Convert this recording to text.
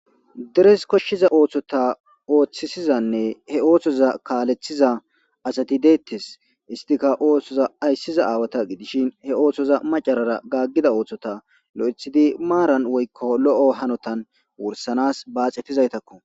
Deres koshshiza oththota oththissizanne he oththota kallisiza asati de'etes.isttika dere ayssiza awa gidishin he oththoza macarara gaggida oththota lo'ithidi maran woyko lo'o gannotan wurssanas baxxetizayttako.